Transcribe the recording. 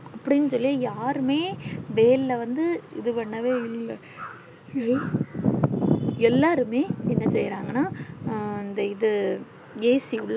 அப்டின்னு சொல்லி யாருமே வெயில வந்து இது பண்ணவே இல்ல எல்லாருமே என்ன செய்ரங்கனா அஹ் இந்த இது AC